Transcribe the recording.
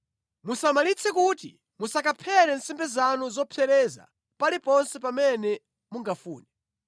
Musamalitse kuti musakaphere nsembe zanu zopsereza paliponse pamene mungafune.